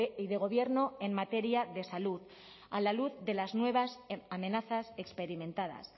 y de gobierno en materia de salud a la luz de las nuevas amenazas experimentadas